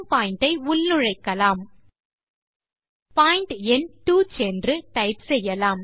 point எண் 2 சென்று type செய்யலாம்